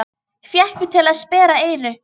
Fékk mig til að sperra eyru.